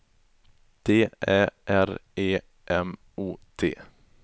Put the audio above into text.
D Ä R E M O T